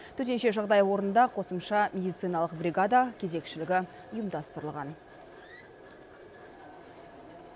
төтенше жағдай орнында қосымша медициналық бригада кезекшілігі ұйымдастырылған